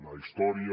la història